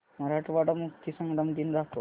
मराठवाडा मुक्तीसंग्राम दिन दाखव